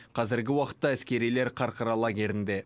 қазіргі уақытта әскерилер қарқара лагерінде